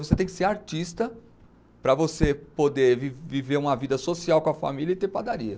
Você tem que ser artista para você poder vi viver uma vida social com a família e ter padaria.